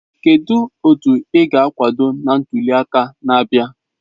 Kedu otu ị ga-akwado na ntuli aka na-abịa?